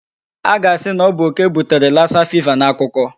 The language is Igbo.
A ga-asị na ọ bụ okè butere Lassa fever n'akukuọ.